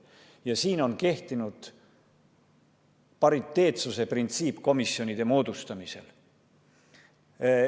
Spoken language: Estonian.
Ja siin on kehtinud pariteetsuse printsiip komisjonide moodustamisel.